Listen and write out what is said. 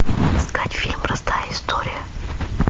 искать фильм простая история